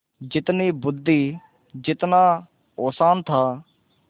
जितनी बुद्वि जितना औसान था